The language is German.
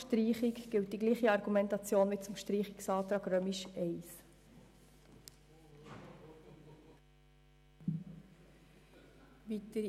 Hier gilt dieselbe Argumentation wie beim Streichungsantrag der Minderheit I.